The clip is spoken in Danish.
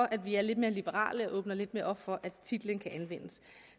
at vi er lidt mere liberale og åbner lidt mere op for at titlen kan anvendes